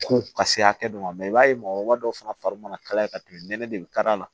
Ko ka se hakɛ dɔ ma i b'a ye mɔgɔkɔrɔba dɔw fana fari mana kalaya ka tɛmɛ nɛnɛ de ka d'a la